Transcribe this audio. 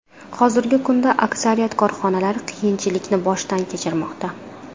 Hozirgi kunda aksariyat korxonalar qiyinchilikni boshdan kechirmoqda.